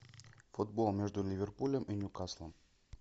футбол между ливерпулем и ньюкаслом